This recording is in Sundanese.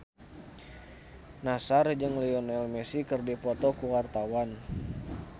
Nassar jeung Lionel Messi keur dipoto ku wartawan